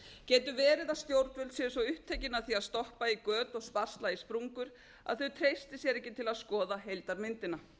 getur verið að stjórnvöld séu svo upptekin af því að stoppa í göt og sparsla í sprungur að þau treysti sér ekki til að skoða heildarmyndina